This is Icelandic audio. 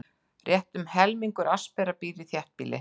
Rétt um helmingur Asera býr í þéttbýli.